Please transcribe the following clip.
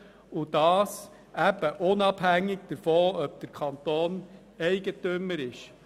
Diese Gesetzgebung ist unabhängig davon, ob der Kanton Eigentümer ist.